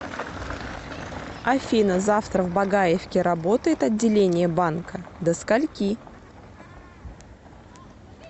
афина завтра в багаевке работает отделение банкадо скольки